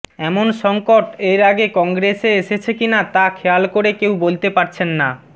এমন সঙ্কট এর আগে কংগ্রেস এএসেছে কি না তা খেয়াল করে কেউ বলতে পারছেন না